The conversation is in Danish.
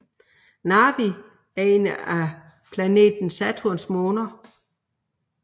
Narvi er en af planeten Saturns måner